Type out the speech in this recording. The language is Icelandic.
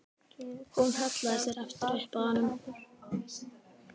Hún hallaði sér aftur upp að honum.